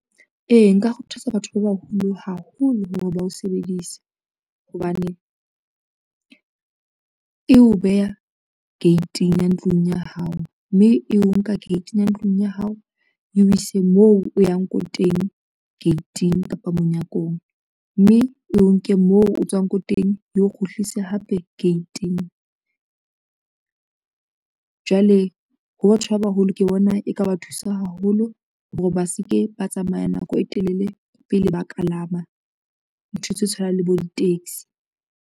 Ee, nka kgothatsa batho ba baholo haholo hore ba o sebedisa, hobane e o beha gate-ing ya ntlong ya hao, mme eo nka gate-ing ya ntlong ya hao, e o ise moo o yang ko teng gate-ing kapa monyakong, mme e o nke moo o tswang ko teng e o kgutlise hape gate-ing. Jwale ho batho ba baholo ke bona e ka ba thusa haholo hore ba se ke ba tsamaya nako e telele, pele ba kalama ntho tse tshwanang le bo di-taxi.